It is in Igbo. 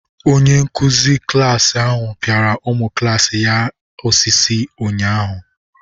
Onyenkụ̀zi klasi ahụ pịara ụmụ klaasi ya osisi ụnyaahụ